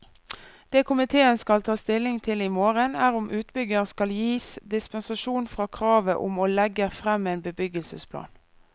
Det komitéen skal ta stilling til i morgen, er om utbygger skal gis dispensasjon fra kravet om å legger frem en bebyggelsesplan.